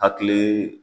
Hakili